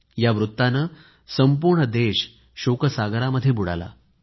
या वृत्ताने संपूर्ण देश शोकसागरामध्ये बुडाला